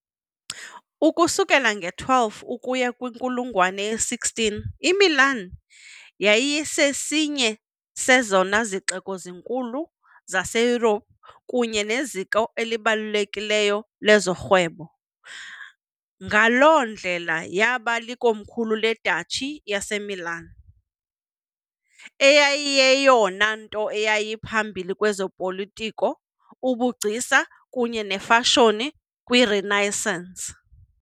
Ukusukela nge-12 ukuya kwinkulungwane ye-16, iMilan yayisesinye sezona zixeko zikhulu zaseYurophu kunye neziko elibalulekileyo lezorhwebo, ngaloo ndlela yaba likomkhulu leDuchy yaseMilan, eyayiyeyona nto yayiphambili kwezopolitiko, ubugcisa kunye nefashoni kwiRenaissance.